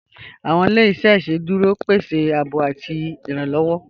Awọn ilẹ̀-iṣẹ̀ iṣẹ́dúró pẹ̀sẹ ààbò ọwọ̀ àti ìrànlowọ